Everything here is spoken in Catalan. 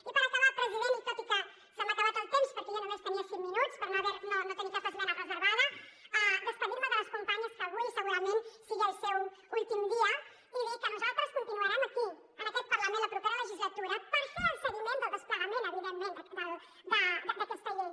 i per acabar president i tot i que se m’ha acabat el temps perquè jo només tenia cinc minuts perquè no tenia cap esmena reservada acomiadar me de les companyes que avui segurament sigui el seu últim dia i dir que nosaltres continuarem aquí en aquest parlament la propera legislatura per fer el seguiment del desplegament evidentment d’aquesta llei